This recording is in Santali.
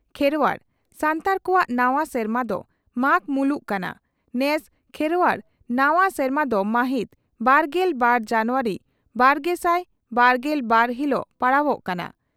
ᱠᱷᱮᱨᱚᱣᱟᱲ (ᱥᱟᱱᱛᱟᱲ) ᱠᱚᱣᱟᱜ ᱱᱟᱣᱟ ᱥᱮᱨᱢᱟ ᱫᱚ ᱢᱟᱜᱽ ᱢᱩᱞᱩᱜ ᱠᱟᱱᱟ, ᱱᱮᱥ ᱠᱷᱮᱨᱣᱟᱲ ᱱᱟᱣᱟ ᱥᱮᱨᱢᱟ ᱫᱚ ᱢᱟᱦᱤᱛ ᱵᱟᱨᱜᱮᱞ ᱵᱟᱨ ᱡᱟᱱᱩᱣᱟᱨᱤ ᱵᱟᱨᱜᱮᱥᱟᱭ ᱵᱟᱨᱜᱮᱞ ᱵᱟᱨ ᱦᱤᱞᱚᱜ ᱯᱟᱲᱟᱣᱚᱜ ᱠᱟᱱᱟ ᱾